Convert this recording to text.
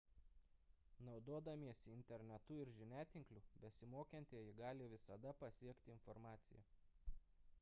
naudodamiesi internetu ir žiniatinkliu besimokantieji gali visada pasiekti informaciją